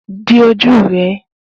Di ojú rẹ́